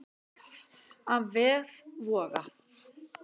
Af vef Voga